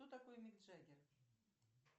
кто такой мик джаггер